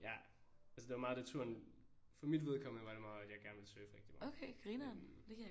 Ja altså det var meget det turen for mit vedkommende var det meget at jeg godt ville surfe rigtig meget men